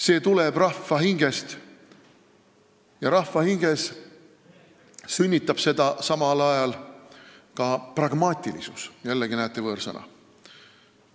See tuleneb rahva hingest ja rahva hinges sünnitab seda tendentsi ka pragmaatilisus – jällegi, näete, võõrsõna.